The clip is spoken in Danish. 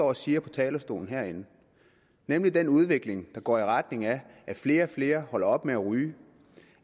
og siger på talerstolen herinde nemlig den udvikling der går i retning af at flere og flere holder op med at ryge